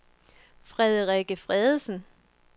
Frederikke Feddersen